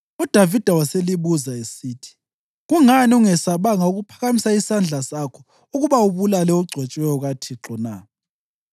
UDavida waselibuza esithi, “Kungani ungesabanga ukuphakamisa isandla sakho ukuba ubulale ogcotshiweyo kaThixo na?”